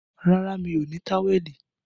Rárá, mi ò ní táwẹ̀lì